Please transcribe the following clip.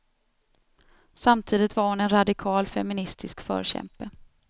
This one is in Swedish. Samtidigt var hon en radikal, feministisk förkämpe.